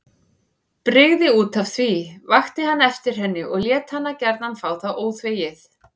Brygði útaf því, vakti hann eftir henni og lét hana gjarna fá það óþvegið.